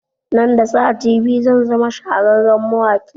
Nan da sati biyu zan zama shahararren mawaƙi